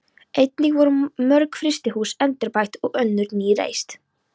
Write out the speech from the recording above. Einnig voru mörg frystihús endurbætt og önnur ný reist.